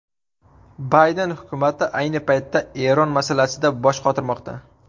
Bayden hukumati ayni paytda Eron masalasida bosh qotirmoqda.